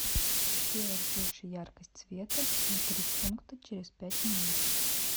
сделать больше яркость света на три пункта через пять минут